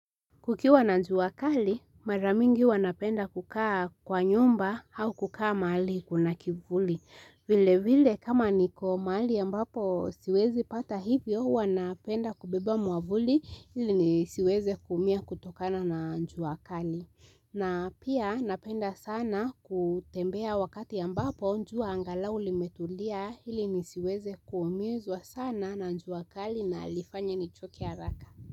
Kukiwa na jua kali, maramingi huwa napenda kukaa kwa nyumba au kukaa mahali kuna kivuli. Vile vile kama niko maali ya mbapo siwezi pata hivyo, huwa napenda kubeba mwavuli ili ni siweze kuumia kutokana na jua kali. Na pia napenda sana kutembea wakati ambapo jua angalau limetulia ili ni siweze kuumizwa sana na jua kali na lifanye nichoke haraka.